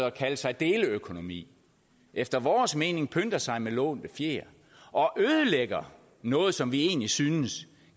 at kalde sig deleøkonomi efter vores mening pynter sig med lånte fjer og ødelægger noget som vi egentlig synes